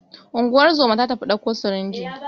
Ungozomar ta tafi ɗauko sirinjin